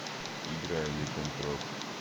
играй ликантроп